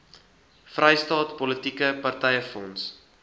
vrystaat politieke partyfonds